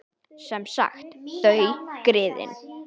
Sem sagt: þau, griðin.